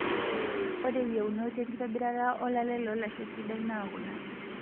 Ore yieunot enkitobirata olale loolasho sidai naa kuna;